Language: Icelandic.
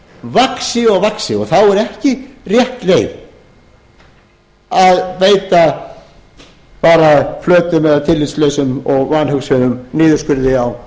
vaxi og vaxi þá er ekki rétt leið að veita bara flötum eða tillitslausum og vanhugsuðum niðurskurði á